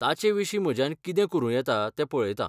ताचे विशीं म्हज्यान कितें करूं येता तें पळयतां.